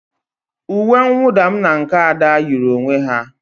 Uwe mwụda m na nke Ada yiri onwe ha.